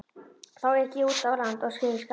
Þá ek ég út af og lendi í skafli.